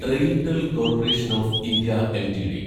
RailTel corporation of India LTD